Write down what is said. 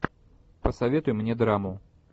посоветуй мне драму